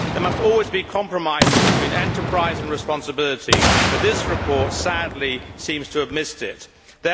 There must always be compromises between enterprise and responsibility, but this report sadly seems to have missed these.